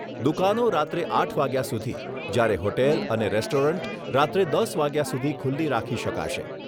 દુકાનો રાત્રે આઠ વાગ્યા સુધી જ્યારે હોટેલ અને રેસ્ટોરન્ટ રાત્રે દસ વાગ્યા સુધી ખુલ્લી રાખી શકાશે.